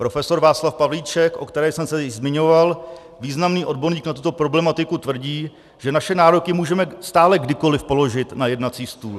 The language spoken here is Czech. Prof. Václav Pavlíček, o kterém jsem se již zmiňoval, významný odborník na tuto problematiku, tvrdí, že naše nároky můžeme stále kdykoli položit na jednací stůl.